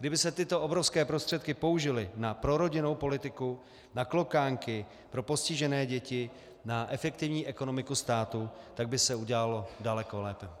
Kdyby se tyto obrovské prostředky použily na prorodinnou politiku, na klokánky, pro postižené děti, na efektivní ekonomiku státu, tak by se udělalo daleko lépe.